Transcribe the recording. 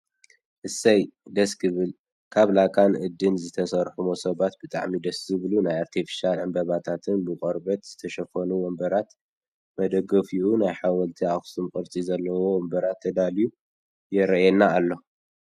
እሰይ ! ደስ ክብል ካብ ላካን እድን ዝተሰርሑ ሞሰባትን ብጣዕሚ ደስ ዝብሉ ናይ ኣርቴፍሻል ዕንበባታትን ብቆርበት ዝተሸፈኑ ወንበራት መደገፊኡ ናይ ሓወልቲ ኣክሱም ቅርፂ ዘለዎ ወንበራት ተዳልዩ የረኣየና ኣሎ።